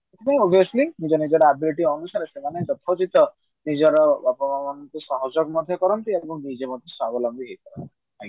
ହଁ obviously ନିଜ ନିଜର ability ଅନୁସାରେ ସେମାନେ ନିଜର ବାପା ମାଙ୍କୁ ମଧ୍ୟ କରନ୍ତି ଏବଂ ନିଜେ ମଧ୍ୟ ସ୍ବାବଲମ୍ବୀ ମଧ୍ୟ ହେଇ ପାରନ୍ତି